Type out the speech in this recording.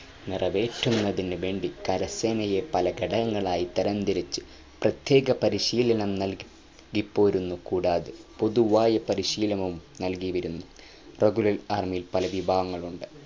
നിറവേറ്റുന്നതിനു വേണ്ടി കരസേനയെ പല ഘടകങ്ങൾയി തരാം തിരിച്ചു പ്രത്യേക പരിശീലനം നല്കിപ്പോരുന്നു കൂടാതെ പൊതുവായ പരിശീലനവും നൽകിവരുന്നു regular army പല വിഭാഗങ്ങളുണ്ട്